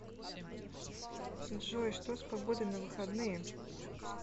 джой что с погодой на выходные